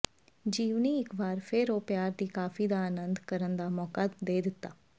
ਜੀਵਨੀ ਇਕ ਵਾਰ ਫਿਰ ਉਹ ਪਿਆਰ ਦੀ ਕਾਫ਼ੀ ਦਾ ਆਨੰਦ ਕਰਨ ਦਾ ਮੌਕਾ ਦੇ ਦਿੱਤਾ